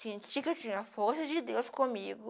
Sentir que eu tinha a força de Deus comigo.